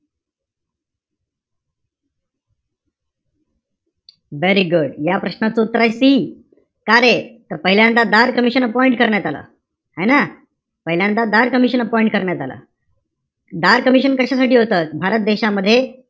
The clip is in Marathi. Very good. या प्रश्नाचं उत्तर आहे C. कारे? तर पहिल्यांदा धार कमिशन करण्यात आलं. है ना? पहिल्यांदा धार कमिशन appoint करण्यात आलं. धार कमिशन appoint कशासाठी होतं. भारत देशामध्ये,